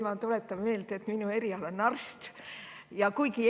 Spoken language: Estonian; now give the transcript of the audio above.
Ma tuletan meelde, et minu eriala on arsti.